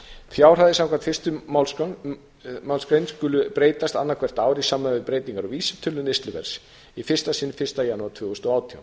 fjárhæðir samkvæmt fyrstu málsgrein skulu breytast annað hvert ár í samræmi við breytingar á vísitölu neysluverðs í fyrsta sinn fyrsta janúar tvö þúsund og átján